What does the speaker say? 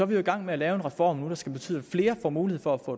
vi jo i gang med at lave en reform nu der skal betyde at flere får mulighed for at